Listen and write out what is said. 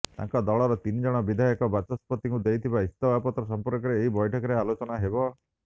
ତାଙ୍କ ଦଳର ତିନିଜଣ ବିଧାୟକ ବାଚସ୍ପତିଙ୍କୁ ଦେଇଥିବା ଇସ୍ତଫାପତ୍ର ସମ୍ପର୍କରେ ଏହି ବୈଠକରେ ଆଲୋଚନା ହେବ